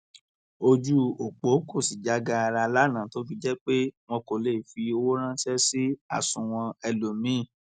ojú ọpọ kò sì já gaara lánàá tó fi jẹ pé wọn kò lè fi owó ránṣẹ sí àsùnwọn ẹlòmíín